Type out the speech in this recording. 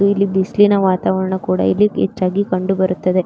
ಇಲ್ಲಿ ಬಿಸಿಲಿನ ವಾತಾವರಣ ಕೂಡ ಇಲ್ಲಿ ಹೆಚ್ಚಾಗಿ ಕಂಡುಬರುತ್ತದೆ.